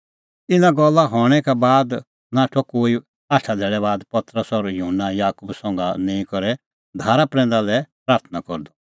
इना गल्ला हणैं का बाद नाठअ कोई आठा धैल़ै बाद पतरस और युहन्ना और याकूबा संघा निंईं करै धारा प्रैंदा लै प्राथणां करदअ